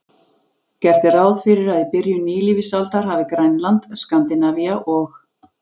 Gert er ráð fyrir að í byrjun nýlífsaldar hafi Grænland, Skandinavía og